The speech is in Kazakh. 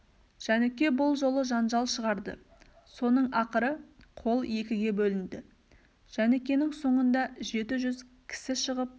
жәніке бұл жолы жанжал шығарды соның ақыры қол екіге бөлінді жәнікенің соңында жеті жүз кісі шығып